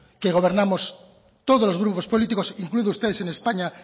que gobernamos todos los grupos políticos incluidos ustedes en españa